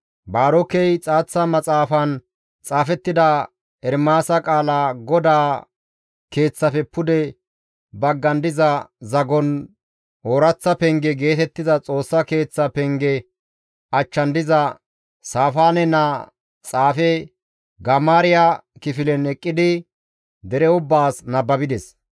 Baarokey xaaththa maxaafan xaafettida Ermaasa qaala GODAA Keeththafe pude baggan diza zagon, «Ooraththa Penge» geetettiza Xoossa Keeththa penge achchan diza Saafaane naa xaafe Gamaariya kifilen eqqidi dere ubbaas nababides.